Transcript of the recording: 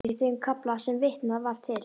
Eldjárns í þeim kafla sem vitnað var til.